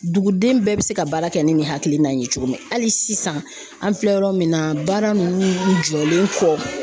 Duguden bɛɛ bɛ se ka baara kɛ ni nin hakilina in ye cogo min hali sisan an filɛ yɔrɔ min na baara ninnu jɔlen kɔ